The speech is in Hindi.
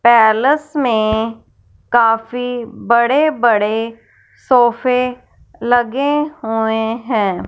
पैलेस में काफी बड़े बड़े सोफे लगे हुए हैं।